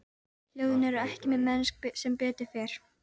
Kaj, slökktu á þessu eftir ellefu mínútur.